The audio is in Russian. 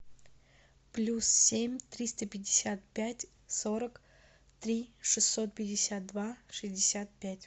плюс семь триста пятьдесят пять сорок три шестьсот пятьдесят два шестьдесят пять